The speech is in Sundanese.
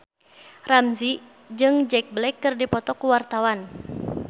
Ramzy jeung Jack Black keur dipoto ku wartawan